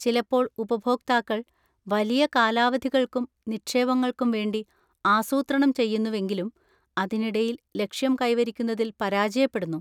ചിലപ്പോൾ ഉപഭോക്താക്കൾ വലിയ കാലാവധികൾക്കും നിക്ഷേപങ്ങൾക്കും വേണ്ടി ആസൂത്രണം ചെയ്യുന്നുവെങ്കിലും അതിനിടയിൽ ലക്ഷ്യം കൈവരിക്കുന്നതിൽ പരാജയപ്പെടുന്നു.